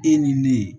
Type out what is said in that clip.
E ni ne